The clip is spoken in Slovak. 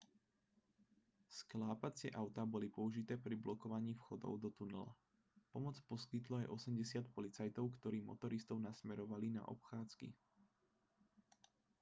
sklápacie autá boli použité pri blokovaní vchodov do tunela pomoc poskytlo aj 80 policajtov ktorí motoristov nasmerovávali na obchádzky